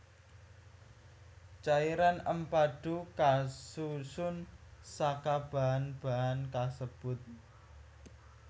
Cairan empadhu kasusun saka bahan bahan kasebut